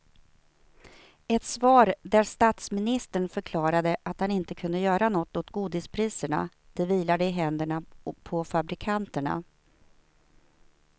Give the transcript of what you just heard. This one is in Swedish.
Ett svar där statsministern förklarade att han inte kunde göra något åt godispriserna, det vilade i händerna på fabrikanterna.